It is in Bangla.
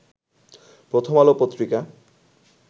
প্রথম আলো পত্রিকা